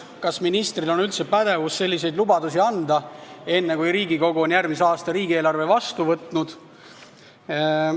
Kas ministril on üldse pädevus selliseid lubadusi anda enne, kui Riigikogu on järgmise aasta riigieelarve vastu võtnud?